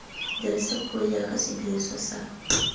dirisa puo jaaka sediriswa sa